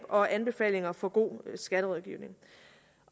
og anbefalinger for god skatterådgivning